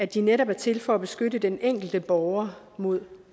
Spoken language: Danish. de netop er til for at beskytte den enkelte borger mod